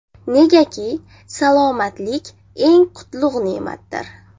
Negaki, salomatlik eng qutlug‘ ne’matdir.